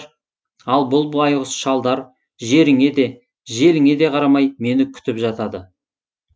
ал бұл байғұс шалдар жеріңе де желіңе де қарамай мені күтіп жатады